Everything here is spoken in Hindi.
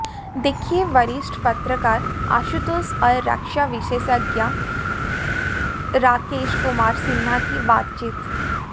देखिए वरिष्ठ पत्रकार आशुतोष और रक्षा विशेषज्ञ राकेश कुमार सिन्हा की बातचीत